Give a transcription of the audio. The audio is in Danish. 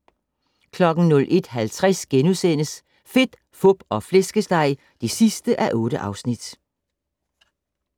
01:50: Fedt, Fup og Flæskesteg (8:8)*